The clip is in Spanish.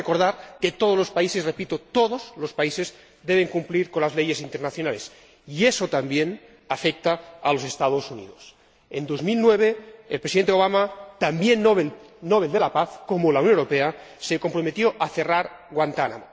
Debemos recordar que todos los países ―repito―, todos los países, deben cumplir con las leyes internacionales, y eso también afecta a los Estados Unidos. En 2009, el Presidente Obama, también Nobel de la Paz ―como la Unión Europea―, se comprometió a cerrar Guantánamo.